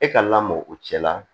E ka lamɔ o cɛ la